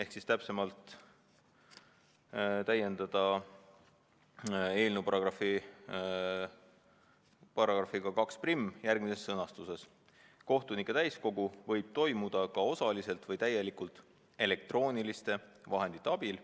Otsustati täiendada eelnõu lõikega 21 järgmises sõnastuses: "Kohtunike täiskogu võib toimuda ka osaliselt või täielikult elektrooniliste vahendite abil.